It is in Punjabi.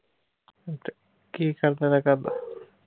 ਕੀ ਕਰਦਾ ਓਹਦਾ ਘਰਦਾ